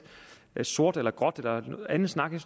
sort eller gråt eller anden snak jeg